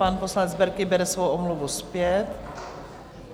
Pan poslanec Berki bere svou omluvu zpět.